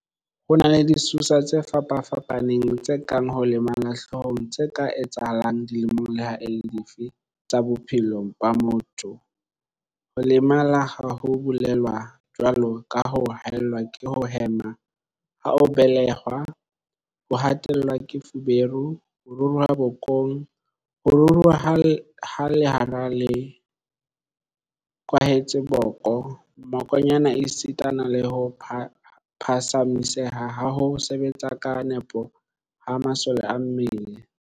Ho na le disosa tse fapa-fapaneng tse kang ho lemala hloohong tse ka etsahalang dilemong leha e le dife tsa bophelo ba motho, ho lemala ha o belehwa, jwalo ka ho haellwa ke ho hema ha o be-lehwa, ho hatellwa ke feberu, ho ruruha bokong, ho ruruha ha lera le kwahetseng boko, mmokonyane esitana le ho phatsamiseha ha ho sebetsa ka nepo ha masole a mmele.